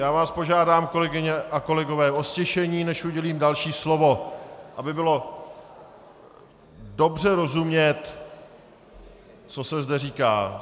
Já vás požádám, kolegyně a kolegové, o ztišení, než udělím další slovo, aby bylo dobře rozumět, co se zde říká.